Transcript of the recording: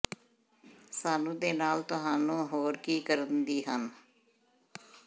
ਸਾਨੂੰ ਦੇ ਨਾਲ ਤੁਹਾਨੂੰ ਹੋਰ ਕੀ ਕਰਨ ਦੀ ਹਨ